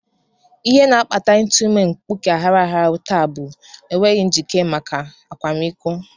Ihe na-akpata ịtụ ime mkpuke aghara aghara taa bụ enweghị njite maka akwamiko